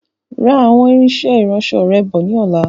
Ra àwọn irinsẹ́ ìránsọ rẹ bọ̀ ni ọ̀la.